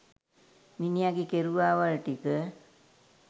මිනිහගේ කෙරුවාවල් ටික